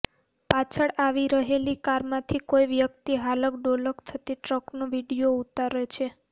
પાછળ આવી રહેલી કારમાંથી કોઈ વ્યક્તિ હાલક ડોલક થતી ટ્રકનો વીડિયો ઊતારે છે